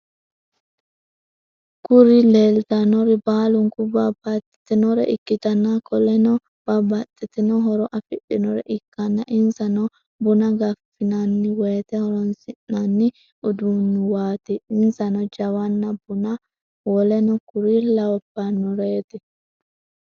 Kuri lelitanori balinku babatitinore ikitana koleno babatitino horo afidhinore ikana insano buna gafinaniwote horonisinani udunuwati insano jawana, buna woleno kuri labanoret.